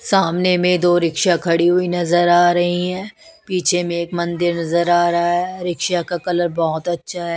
सामने में दो रिक्शा खड़ी हुई नजर आ रही हैं पीछे में एक मंदिर नजर आ रहा है रिक्शा का कलर बहुत अच्छा है।